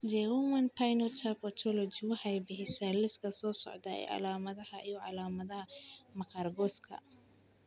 The Human Phenotype Ontology waxay bixisaa liiska soo socda ee calaamadaha iyo calaamadaha maqaarka qoyska.